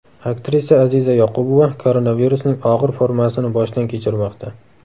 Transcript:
Aktrisa Aziza Yoqubova koronavirusning og‘ir formasini boshdan kechirmoqda.